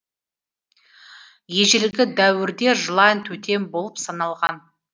ежелгі дәуірде жылан тотем болып саналған